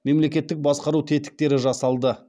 мемлекеттік басқару тетіктері жасалды